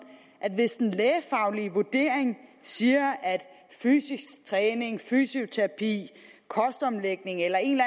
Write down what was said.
at hvis en lægefaglig vurdering siger at fysisk træning fysioterapi kostomlægning eller en